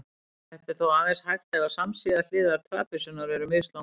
Þetta er þó aðeins hægt ef samsíða hliðar trapisunnar eru mislangar.